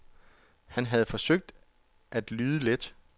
Han havde forsøgt at lyde let.